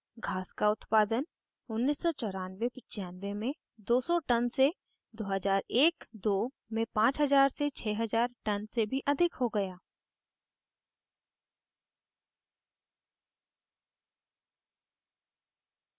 घास का उत्पादन 199495 में 200 टन से 20012002 में 50006000 टन से भी अधिक हो गया